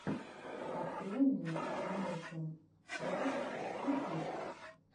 открой мне мэйсэм рэс ютюб